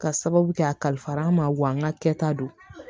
Ka sababu kɛ a kalifa an ma wa an ka kɛta don